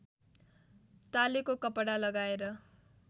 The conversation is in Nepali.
टालेको कपडा लगाएर